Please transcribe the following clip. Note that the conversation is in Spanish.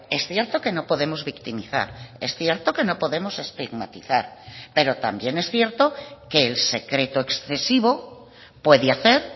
es cierto que no podemos victimizar es cierto que no podemos estigmatizar pero también es cierto que el secreto excesivo puede hacer